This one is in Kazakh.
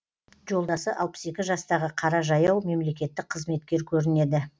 жолдасы алпыс екі жастағы қара жаяу мемлекеттік қызметкер көрінеді